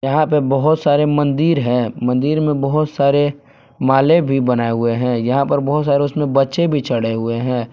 यहां पे बहुत सारे मंदिर हैं मंदिर में बहुत सारे माले भी बनाए हुए हैं यहां पर बहुत सारे उसमें बच्चे भी चढ़े हुए हैं।